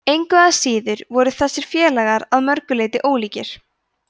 engu að síður voru þessir félagar að mörgu leyti ólíkir